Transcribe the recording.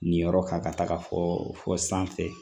Nin yɔrɔ kan ka taga fɔ sanfɛ